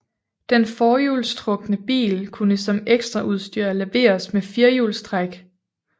Den forhjulstrukne bil kunne som ekstraudstyr leveres med firehjulstræk